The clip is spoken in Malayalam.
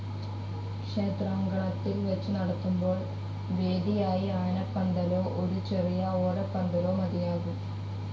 ക്ഷേത്രാങ്കണത്തിൽ വച്ചു നടത്തുമ്പോൾ വേദിയായി ആനപ്പന്തലോ ഒരു ചെറിയ ഓലപ്പന്തലോ മതിയാകും.